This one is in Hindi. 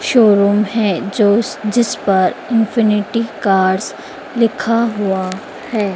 शोरूम है जो जिस पर इंफिनिटी कार्स लिखा हुआ है।